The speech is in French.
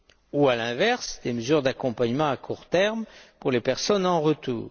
ou, à l'inverse, des mesures d'accompagnement à court terme, pour les personnes en retour.